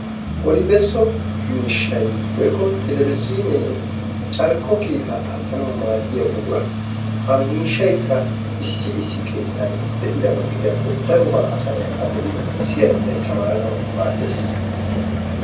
Odibesso miishshay woyikko telebezhiinee carkko kiitaa aattanawu maaddiyaa buqura. Ha miishshayikka issi issi keettan de'idaba gidiyaakko darobaa asanay a be'idi siyanawunne tamaaranawu maaddees.